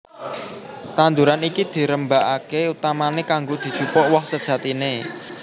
Tanduran iki dirembakaké utamané kanggo dijupuk woh sejatiné